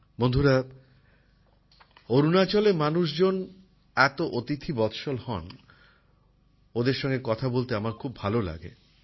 বন্ধুরা অরুণাচলের মানুষজন এত অতিথিবৎসল হন ওদের সাথে কথা বলতে আমার খুব ভাল লাগে